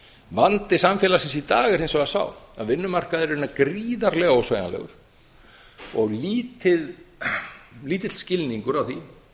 vandi samfélagsins í dag er hins vegar sá að vinnumarkaðurinn er gríðarlega ósveigjanlegur og lítill skilningur á því